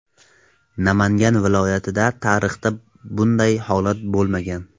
Namangan viloyatida tarixda bunday holat bo‘lmagan.